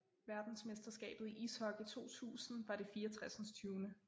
Verdensmesterskabet i ishockey 2000 var det 64